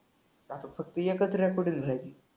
आता फक्त एकच रेकॉर्डिंग राहिली.